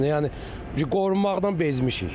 Yəni qorunmaqdan bezmişik.